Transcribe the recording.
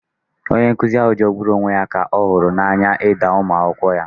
Onye nkuzi ahụ jọgburu onwe ya na ọ hụrụ n'anya ịda ụmụ akwụkwọ ya